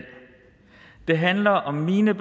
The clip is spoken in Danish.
det handler om mine